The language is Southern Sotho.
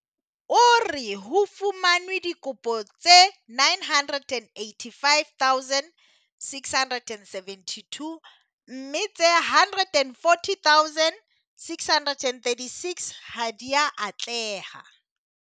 O re ho fumanwe dikopo tse 985 672 mme tse 140 636 ha di a atleha.